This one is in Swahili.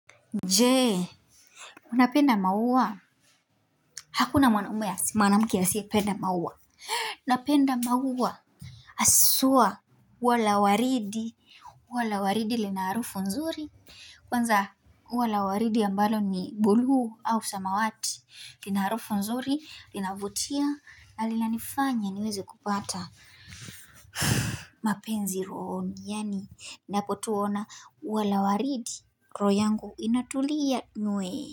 Je unapenda maua hakuna mwanaume asiye mwanamke asiyependa maua napenda maua haswa ua la waridi ua la waridi linaharufu nzuri kwanza ua la waridi ambalo ni bluu au samawati linaharufu nzuri, linavutia, na lilanifanya niwezekupata mapenzi rohoni, yani napotuona ua la waridi roho yangu inatulia nywee.